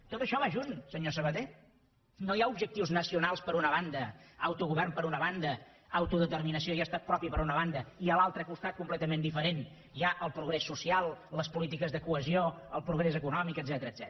tot això va junt senyor sabaté no hi ha objectius nacionals per una banda autogovern per una banda autodeterminació i estat propi per una banda i a l’altre costat completament diferent hi ha el progrés social les polítiques de cohesió el progrés econòmic etcètera